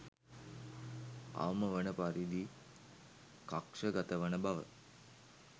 අවම වන පරිදි කක්ෂ ගත වන බව.